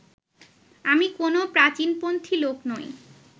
আমি কোনও প্রাচীনপন্থী লোক নই